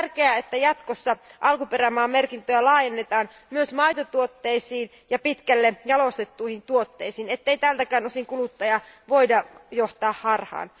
On tärkeää, että jatkossa alkuperämaamerkintöjä laajennetaan myös maitotuotteisiin ja pitkälle jalostettuihin tuotteisiin, ettei tältäkään osin kuluttajaa voida johtaa harhaan.